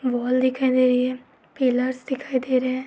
Wall दिखाई दे रही है पिलर्स दिखाई दे रहे हैं।